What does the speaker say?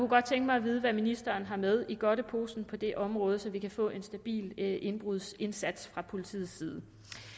godt tænke mig at vide hvad ministeren har med i godteposen på det område så vi kan få en stabil indbrudsindsats fra politiets side